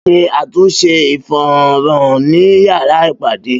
Bayo ṣe àtúnṣe ìfohun-hàn ní yàrá ìpàdé